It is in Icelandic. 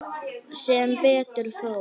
Sem betur fór.